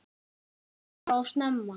Hann flaug bara of snemma.